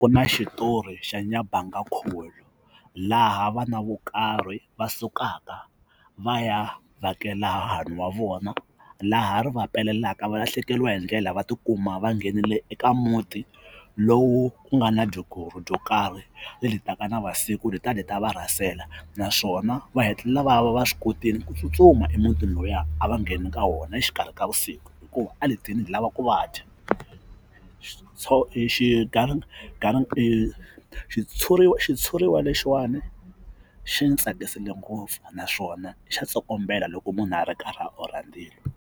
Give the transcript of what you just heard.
Ku na xitori xa nyabangakhuvi laha vana vo karhi va sukaka va ya vhakela hahani wa vona laha ri va pelelaka valahlekeriwa hi ndlela va tikuma va nghenile eka muti lowu ku nga na dyo karhi leri taka na vusiku dyi ta dyi ta va rhasela naswona va hetelela va va va swi kotile ku tsutsuma emutini luya a va ngheni ka wona exikarhi ka vusiku hikuva a dyi tile dyi lava ku va dya xitshuriwa xitshuriwa lexiwani xi ni tsakisile ngopfu naswona xa tsokombela loko munhu a ri karhi orha ndzilo.